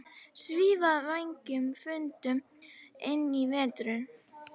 Svífa vængjum þöndum inn í veturinn